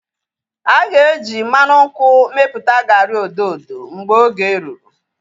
Aga eji mmanụ nkwụ mepụta garị odo odo mgbe oge rụrụ